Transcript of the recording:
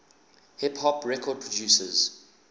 hip hop record producers